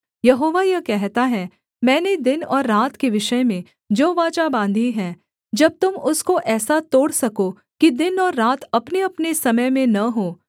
यहोवा यह कहता है मैंने दिन और रात के विषय में जो वाचा बाँधी है जब तुम उसको ऐसा तोड़ सको कि दिन और रात अपनेअपने समय में न हों